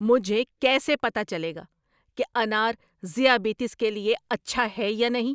مجھے کیسے پتہ چلے گا کہ انار ذیابیطس کے لیے اچھا ہے یا نہیں؟